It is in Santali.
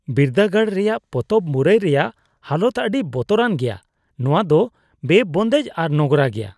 ᱵᱤᱨᱫᱟᱹᱜᱟᱲ ᱨᱮᱭᱟᱜ ᱯᱚᱛᱚᱵ ᱢᱩᱨᱟᱹᱭ ᱨᱮᱭᱟᱜ ᱦᱟᱞᱚᱛ ᱟᱹᱰᱤ ᱵᱚᱛᱚᱨᱟᱱ ᱜᱮᱭᱟ ; ᱱᱚᱶᱟ ᱫᱚ ᱵᱮᱼᱵᱚᱱᱫᱮᱡ ᱟᱨ ᱱᱚᱝᱨᱟ ᱜᱮᱭᱟ ᱾